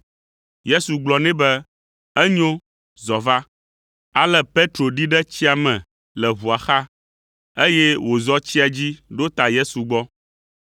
Yesu gblɔ nɛ be, “Enyo, zɔ va.” Ale Petro ɖi ɖe tsia me le ʋua xa, eye wòzɔ tsia dzi ɖo ta Yesu gbɔ.